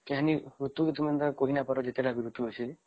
ଋତୁ କଥା କିଛି କହି ନାଇଁ ପାରିବ ଯେତେ ତା ଋତୁ ଅଛେ